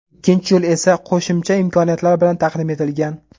Ikkinchi yo‘l esa qo‘shimcha imkoniyatlar bilan taqdim etilgan.